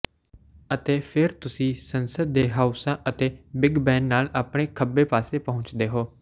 ਅਤੇ ਫਿਰ ਤੁਸੀਂ ਸੰਸਦ ਦੇ ਹਾਊਸਾਂ ਅਤੇ ਬਿੱਗ ਬੈਨ ਨਾਲ ਆਪਣੇ ਖੱਬੇ ਪਾਸੇ ਪਹੁੰਚਦੇ ਹੋ